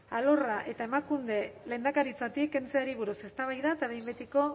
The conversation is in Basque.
alorra eta emakunde lehendakaritzatik kentzeari buruz eztabaida eta behin betiko